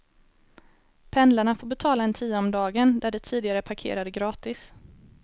Pendlarna får betala en tia om dagen där de tidigare parkerade gratis.